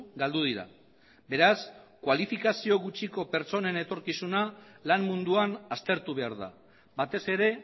galdu dira beraz kualifikazio gutxiko pertsonen etorkizuna lan munduan aztertu behar da batez ere